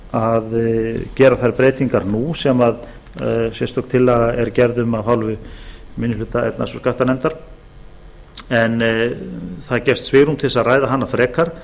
að gera þær breytingar nú sem sérstök tillaga er gerð um af hálfu minni hluta efnahags og skattanefndar en það gefst svigrúm til að ræða hana frekar